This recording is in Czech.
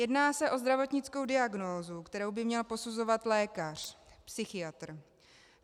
Jedná se o zdravotnickou diagnózu, kterou by měl posuzovat lékař, psychiatr.